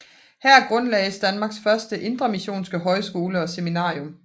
Her grundlagdes Danmarks første indremissionske højskole og seminarium